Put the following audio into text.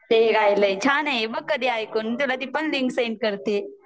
ते गायलंय, छान आहे बघ कधी ऐकून मी तुला ती पण लिंक सेंड करते